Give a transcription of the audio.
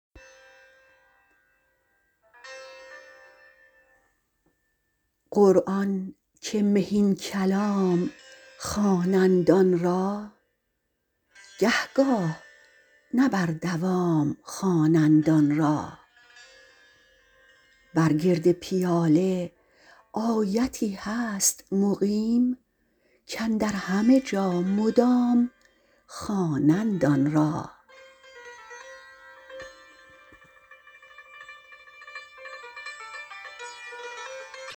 قرآن که مهین کلام خوانند آن را گه گاه نه بر دوام خوانند آن را بر گرد پیاله آیتی هست مقیم کاندر همه جا مدام خوانند آن را